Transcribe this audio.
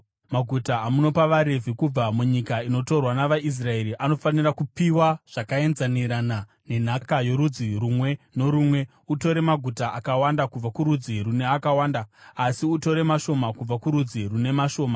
Maguta amunopa vaRevhi kubva munyika inotorwa navaIsraeri anofanira kupiwa zvakaenzanirana nenhaka yorudzi rumwe norumwe: Utore maguta akawanda kubva kurudzi rune akawanda, asi utore mashoma kubva kurudzi rune mashoma.”